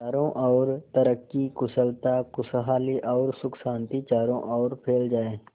चारों और तरक्की कुशलता खुशहाली और सुख शांति चारों ओर फैल जाए